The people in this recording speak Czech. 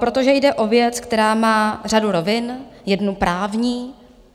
Protože jde o věc, která má řadu rovin, jednu právní.